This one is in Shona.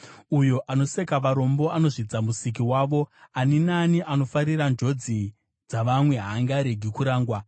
Uyo anoseka varombo anozvidza Musiki wavo, ani naani anofarira njodzi dzavamwe haangaregi kurangwa.